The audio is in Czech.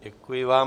Děkuji vám.